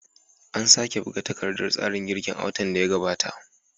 An sake buga takardar tsarin girkin a watan da ya gabata.